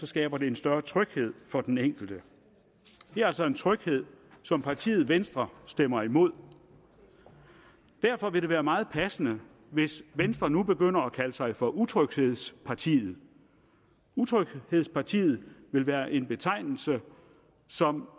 skaber en større tryghed for den enkelte det er altså en tryghed som partiet venstre stemmer imod derfor vil det være meget passende hvis venstre nu begynder at kalde sig for utryghedspartiet utryghedspartiet vil være en betegnelse som